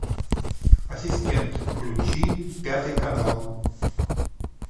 ассистент включи пятый канал